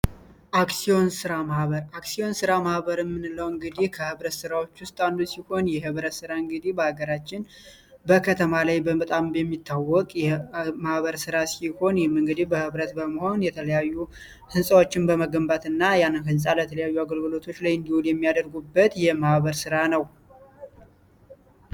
አክሲዮን ስራ ማህበር አክሲዮን ስራ ማህበር ምንለው እንግዲህ ከህብረት ስራዎች ውስጥ አንዱ ሲሆን፤ የህብረት ስራ እንግዲህ በአገራችን በከተማ ላይ በጣም በሚታወቅ የማህበር ስራ ሲሆን፤ በህብረት በመሆን የተለያዩ ህንፃዎችን በመገንባት እና ያንን ህንፃ ለተለያዩ አገልግሎቶች ላይ የሚያደርጉበት የማህበር ስራ ነው።